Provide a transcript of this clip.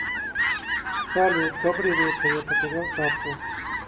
салют добрый вечер я потерял карту